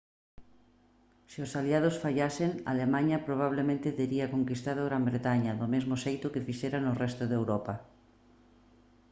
se os aliados fallasen alemaña probablemente tería conquistado gran bretaña do mesmo xeito que fixera no resto de europa